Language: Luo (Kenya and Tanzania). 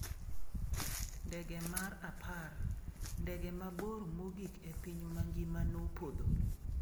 Ndege mar apar: Ndege mabor mogik e piny mangima nopodho